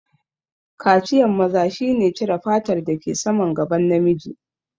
Kaciyan maza shi ne cire fatar da ke saman gaban namiji